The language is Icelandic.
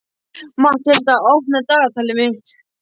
Matthilda, opnaðu dagatalið mitt.